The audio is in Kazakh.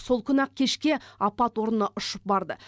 сол күні ақ кешке апат орнына ұшып барды